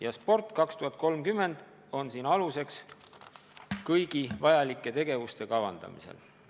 Ja "Sport 2030" on siin aluseks kõigi vajalike tegevuste kavandamisel.